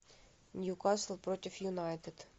ньюкасл против юнайтед